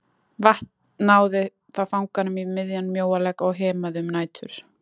Vatn náði þá fanganum í miðjan mjóalegg og hemaði um nætur.